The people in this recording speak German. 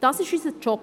Das ist unser Job.